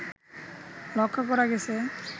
লক্ষ্য করা গেছে